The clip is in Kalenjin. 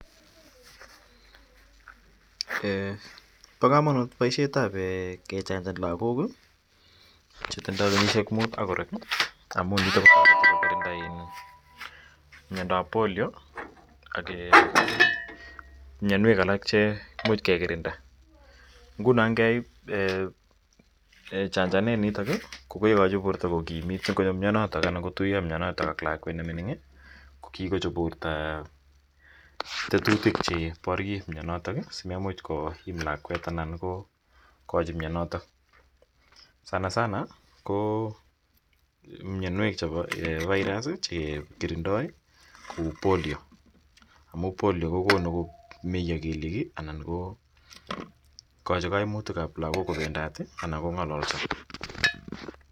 Eeh, pa kamanut poishet ap kechanjan lagok che tinye kenyishek muut ak korek amu nitok ko tareti kekirinda mindo ap Polio ak mianwek alak che imuch ke kirinda. Nguno ngeip chanjananitok ko kekachi porto kokimit. Nguno ngo tuya mianotok ak lakwet ne mining' ko kikochop porto tetutik che paryei mianotok asimemuch koim lagwet anan ko kachi mianotok. Sansana ko mianwech chepo virus che kirindai kou Polio. Polio ko konu komeya keliek anan ko kachi kaimutik ap lagok kopendat anan ko ng'alalsa